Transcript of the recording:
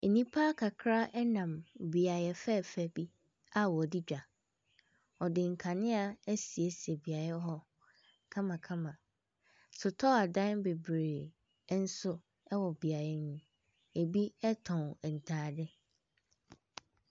Nnipa kakra nam beaeɛ fɛɛfɛ bi a ɔdi dwa, ɔde nkanea asiesie beaeɛ hɔ kamakama. Sotɔɔ adan bebree nso ɛwɔ beaeɛ hɔ ɛbi ɔtɔn ntaade.